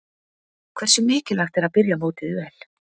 Hversu mikilvægt er að byrja mótið vel?